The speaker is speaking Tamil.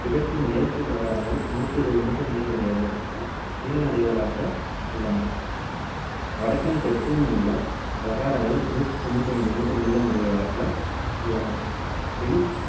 கிழக்கு மேற்குப் பிரகாரங்கள் நூத்தி இருபது meter நீளமுடையது நீளமுடையவைகளாக உள்ளன. வடக்கிலும் தெற்கிலும் உள்ள பிரகாரங்கள் நூத்தி தொண்ணூத்தி ஐந்து meter நீளமுடையவைகளாக உள்ளன. வெளி